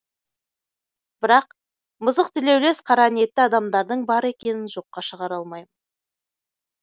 бірақ мысықтілеулес қараниетті адамдардың бар екенін жоққа шығара алмаймын